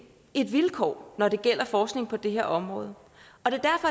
et vilkår når det gælder forskning på det her område og det